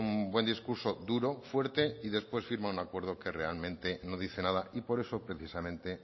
un buen discurso duro fuerte y después firma un acuerdo que realmente no dice nada y por eso precisamente